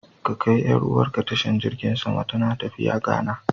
Ka kai 'yar'uwarka tashar jirgin sama, tana tafiya Ghana.